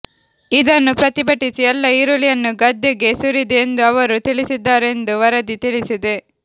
ಇದನ್ನು ಪ್ರತಿಭಟಿಸಿ ಎಲ್ಲ ಈರುಳ್ಳಿಯನ್ನು ಗದ್ದೆಗೆ ಸುರಿದೆ ಎಂದು ಅವರು ತಿಳಿಸಿದ್ದಾರೆಂದು ವರದಿ ತಿಳಿಸಿದೆ